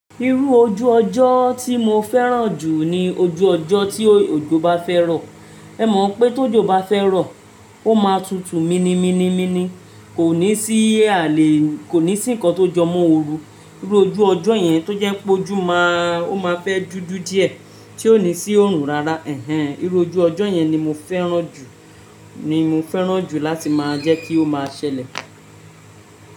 Irú ojú ọjọ́ tí mo fẹ́ràn jù ni ojú ọjọ́ tí òjò bá fẹ́ rọ̀. Ẹ mọ̀ pé tó jò bá fẹ́ rọ̀, ó máa tutù mini mini mini, kò ní sí àlè, kò ní sí nǹkan tó jọmọ́ ooru. Irú ojú ọjọ́ yẹn tó jẹ́ pó ojú máa, ó máa fẹ́ dúdú díẹ̀ tí ò ní sí oòrùn rárá. Ẹ̀hẹn, irú ojú ọjọ́ yẹn ni mo fẹ́ràn jù, ni mo fẹ́ràn jù láti máa jẹ́ kí ó máa ṣẹlẹ̀.